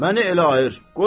Məni elə ayır.